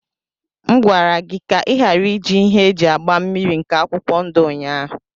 M gwara gị ka ị ghara iji ihe eji agba mmniri nke akwụkwọ ndụ ụnyahụ.